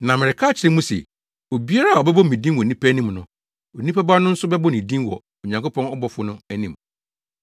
“Na mereka akyerɛ mo se, obiara a ɔbɛbɔ me din wɔ nnipa anim no, Onipa Ba no nso bɛbɔ ne din wɔ Onyankopɔn abɔfo no anim.